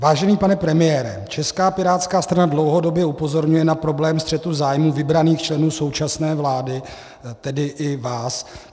Vážený pane premiére, Česká pirátská strana dlouhodobě upozorňuje na problém střetu zájmů vybraných členů současné vlády, tedy i vás.